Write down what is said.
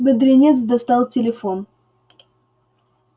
бедренец достал телефон